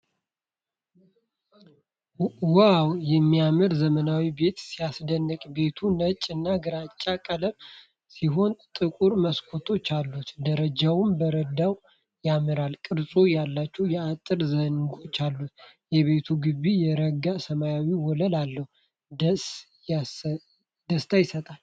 ዋው! የሚያምር ዘመናዊ ቤት ሲያስደንቅ! ቤቱ ነጭ እና ግራጫ ቀለም ሲሆን ጥቁር መስኮቶች አሉት። ደረጃውና በረንዳው ያማረ ቅርጽ ያላቸው የአጥር ዘንጎች አሉት ። የቤቱ ግቢ የረጋ ሰማያዊ ወለል አለው። ደስታ ይሰጣል።